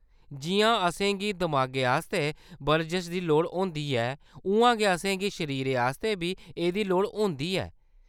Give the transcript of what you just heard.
जिʼयां असेंगी दमागै आस्तै बरजश दी लोड़ होंदी ऐ, उʼआं गै असेंगी शरीरै आस्तै बी एह्‌‌‌दी लोड़ होंदी ऐ।